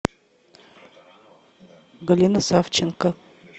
галина савченко